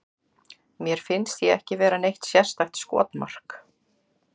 Mér finnst ég ekki vera neitt sérstakt skotmark.